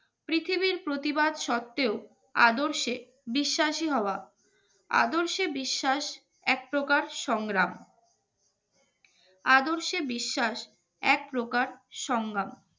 পৃথিবীর প্রতিবাদ সত্ত্বেও আদর্শে বিশ্বাসী হওয়া আদর্শে বিশ্বাস একপ্রকার সংগ্রাম আদর্শে বিশ্বাস এক প্রকার সঙ্গম